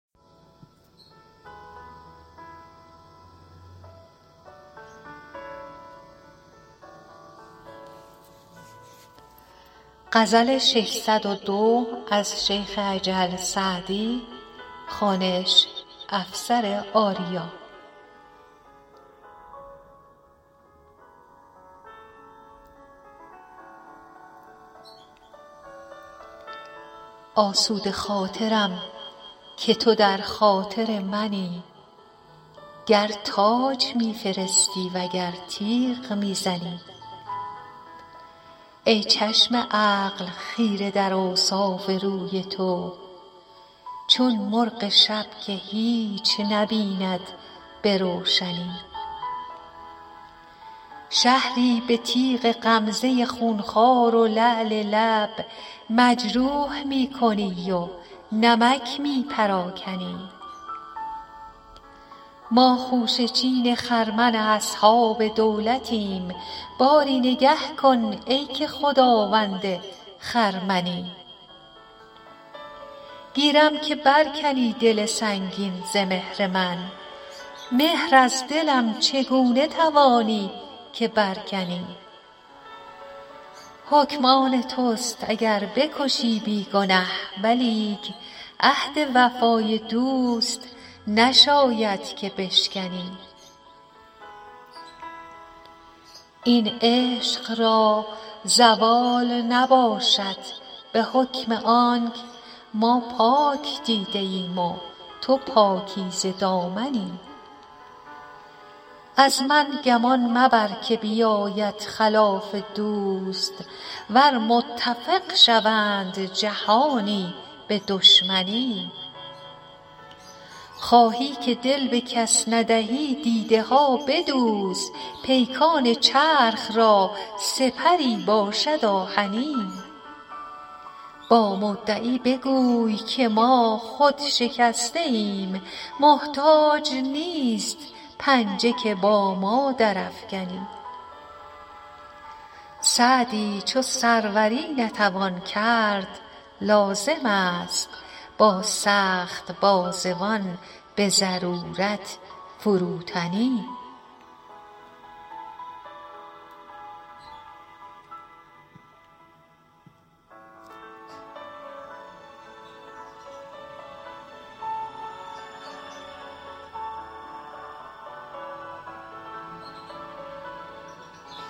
آسوده خاطرم که تو در خاطر منی گر تاج می فرستی و گر تیغ می زنی ای چشم عقل خیره در اوصاف روی تو چون مرغ شب که هیچ نبیند به روشنی شهری به تیغ غمزه خونخوار و لعل لب مجروح می کنی و نمک می پراکنی ما خوشه چین خرمن اصحاب دولتیم باری نگه کن ای که خداوند خرمنی گیرم که بر کنی دل سنگین ز مهر من مهر از دلم چگونه توانی که بر کنی حکم آن توست اگر بکشی بی گنه ولیک عهد وفای دوست نشاید که بشکنی این عشق را زوال نباشد به حکم آنک ما پاک دیده ایم و تو پاکیزه دامنی از من گمان مبر که بیاید خلاف دوست ور متفق شوند جهانی به دشمنی خواهی که دل به کس ندهی دیده ها بدوز پیکان چرخ را سپری باشد آهنی با مدعی بگوی که ما خود شکسته ایم محتاج نیست پنجه که با ما درافکنی سعدی چو سروری نتوان کرد لازم است با سخت بازوان به ضرورت فروتنی